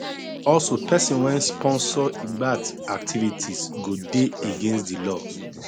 also pesin wey sponsor lgbt activities go dey against di law